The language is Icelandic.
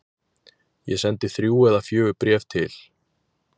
Ég sendi þrjú eða fjögur bréf til